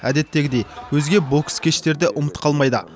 әдеттегідей өзге бокс кештері де ұмыт қалмайды